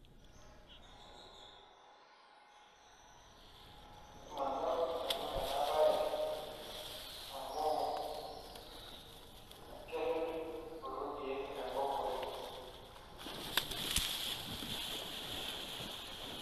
Manyorr nanu ena baye amu kerrid kulo keek enkop oleng'.